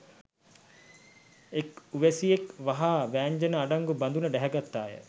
එක් උවැසියක් වහා වෑංජනය අඩංගු බඳුන ඩැහැගත්තාය